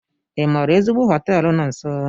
Ị maara ezigbo họteelu no nso?